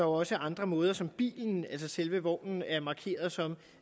også andre måder som bilen altså selve vognen er markeret som